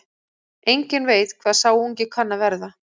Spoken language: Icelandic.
Enginn veit hvað sá ungi kann að verða.